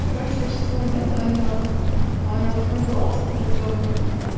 короче я сейчас луне звонила а у него такой голос как будто он